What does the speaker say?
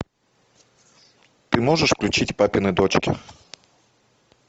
ты можешь включить папины дочки